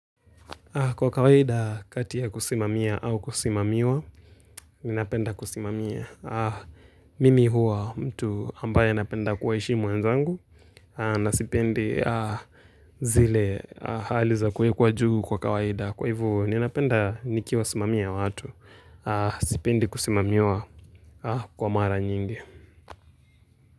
Kwa kawaida kati ya kusimamia au kusimamiwa, ninapenda kusimamia. Mimi huwa mtu ambaye napenda kuwaheshimu wenzangu. Na sipendi zile hali za kuwekwa juu kwa kawaida. Kwa hivo ninapenda nikiwasimamia watu. Sipendi kusimamiwa kwa mara nyingi.